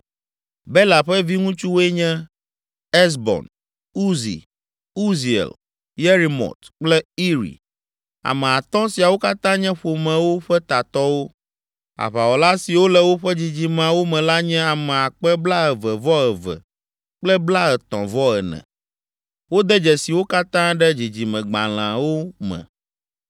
Bela ƒe viŋutsuwoe nye: Ezbon, Uzi, Uziel, Yerimot kple Iri. Ame atɔ̃ siawo katã nye ƒomewo ƒe tatɔwo. Aʋawɔla siwo le woƒe dzidzimeawo me la nye ame akpe blaeve-vɔ-eve kple blaetɔ̃-vɔ-ene (22,034). Wode dzesi wo katã ɖe dzidzimegblalẽwo me.